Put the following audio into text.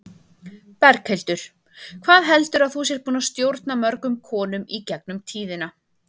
Berghildur: Hvað heldurðu að þú sért búin að stjórna mörgum konum í gegnum tíðina?